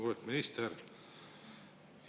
Lugupeetud minister!